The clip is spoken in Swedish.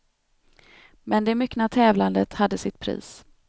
Men det myckna tävlandet hade sitt pris.